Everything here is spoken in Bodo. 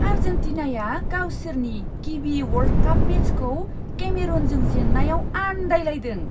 आर्जेन्टिनाया गावसोरनि गिबि वर्ल्ड काप मेचखौ केमेरूनजों जेन्नायाव आन्दायलायदों!